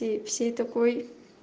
и всей такой